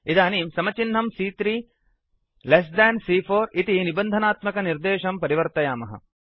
इदानीं समचिह्नं सी॰॰3 लेस् देन् सी॰॰4 इति निबन्धनात्मकनिर्देशं परिवर्तयामः